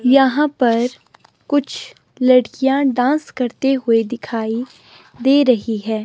यहां पर कुछ लड़कियां डांस करते हुए दिखाई दे रही है।